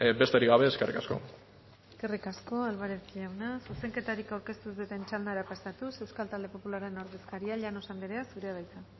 besterik gabe eskerrik asko eskerrik asko álvarez jauna zuzenketarik aurkeztu ez duten txandara pasatuz euskal talde popularraren ordezkaria llanos andrea zurea da hitza